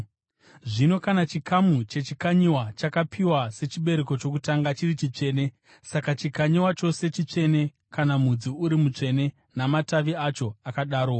Zvino kana chikamu chechikanyiwa chakapiwa sechibereko chokutanga chiri chitsvene, saka chikanyiwa chose chitsvene; kana mudzi uri mutsvene namatavi acho akadarowo.